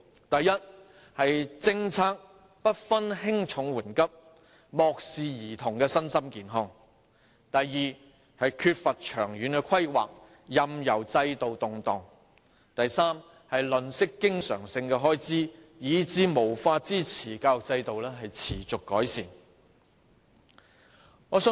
第一，政策不分輕重緩急，漠視兒童身心健康；第二，缺乏長遠規劃，任由制度動盪；第三，吝嗇經常開支，以致無法支持教育制度持續改善。